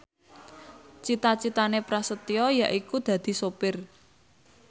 cita citane Prasetyo yaiku dadi sopir